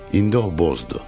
İndi o bozdur.